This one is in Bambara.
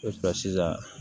sisan